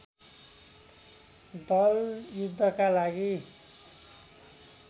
दल युद्धका लागि